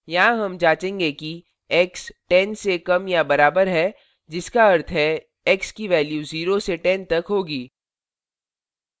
यहाँ हम जाँचेंगे कि x 10 से कम या बराबर है जिसका अर्थ है x की values 0 से 10 तक होगी